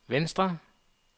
venstre